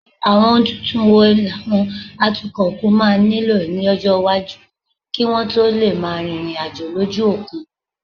Àwọn ohun tuntun wo làwọn atukọ̀ òkun máa nílò lọ́jọ́ iwájú kí wọ́n tó lè máa rìnrìn àjò lójú òkun?